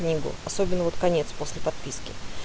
книгу особенно вот конец после подписки